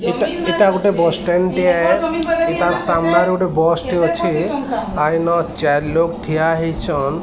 ଏଟା ଏଇଟା ଗୋଟେ ବସ୍ ଷ୍ଟାଣ୍ଡ୍ ଟିଏ ତା ସାମ୍ନାରେ ଗୋଟେ ବସ୍ ଟେ ଅଛି ଆଇନ ଚାର୍ ଲୋକ୍ ଠିଆ ହେଇଛନ୍ ।